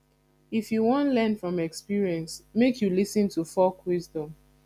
if you wan learn from experience make you lis ten to folk wisdom